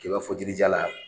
I b'a fɔ jirijalan.